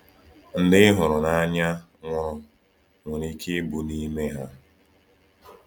Ndị ị hụrụ n’anya nwụrụ nwere ike ịbụ n’ime ha.